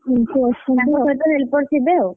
ତାଙ୍କ ସହିତ ଲୋକ ଥିବେ ଆଉ,